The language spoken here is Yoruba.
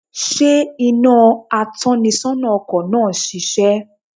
Sé iná atónisónà ọkò náà ń sisé?